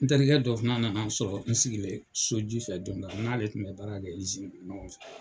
N terikɛ dɔ fana nana n sɔrɔ n sigilen sojufɛ don dɔ la n n'ale kun bɛ baara kɛ ɲɔgɔn fɛ.